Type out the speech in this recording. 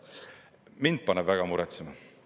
Mind paneb väga muretsema.